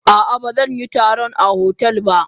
A ah ba zanyi taron a hotel ba.